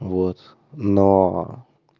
вот но